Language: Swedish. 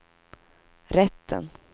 rätten